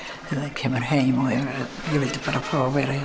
kemur heim og ég vildi bara fá að vera